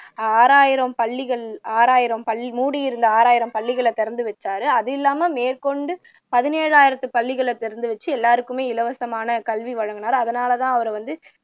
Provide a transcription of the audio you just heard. ஆறாயிரம் பள்ளிகள் ஆறாயிரம் பள்ளி மூடியிருந்த ஆறாயிரம் பள்ளிகளை திறந்து வைச்சார் அது இல்லாம மேற்கொண்டு பதினேழாயிரம் பள்ளிகளை திறந்து வைத்து எல்லாருக்குமே இலவசமான கல்வி வழங்குனார் அதுனாலதான் அவரை வந்து